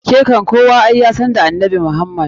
Ke kam ai kowa yasan da annabi Muhammda.